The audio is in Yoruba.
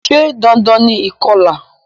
Se dandan ni ìkolà?